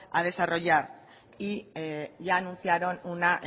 a desarrollar y ya anunciaron una